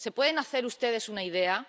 ¿Se pueden hacer ustedes una idea?